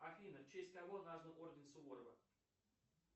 афина в честь кого назван орден суворова